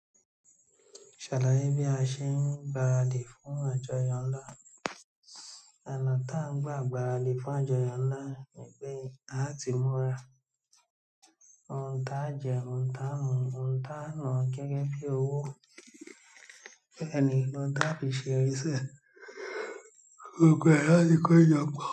Ṣàlàyé bí a ṣe ń gbaradì fún àjọyọ̀ ńlá. Ọ̀nà ta ń gba gbáradì fún àjọyọ̀ ńlá ni pé àá ti múra, ohun táa jẹ, ohun táa mu, ohun táa na gẹ́gẹ́ bí owó a lè lò ohun táa fi ṣe eré ṣe. Gbogbo ẹ láa ti kọ jọpo.